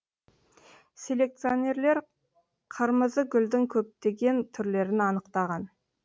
селекционерлер қырмызыгүлдің көптеген түрлерін анықтаған